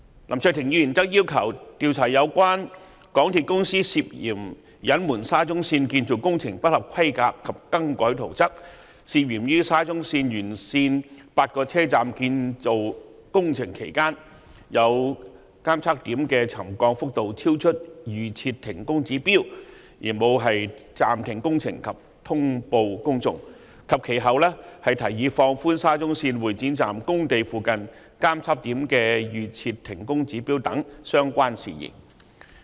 林卓廷議員則要求調查有關港鐵公司涉嫌隱瞞沙中線建造工程不合規格及更改圖則、涉嫌於沙中線沿線8個車站建造工程期間，有監測點的沉降幅度超出預設停工指標而沒有暫停工程及通報公眾，以及其後提議放寬沙中線會展站工地附近監測點的預設停工指標等相關事宜。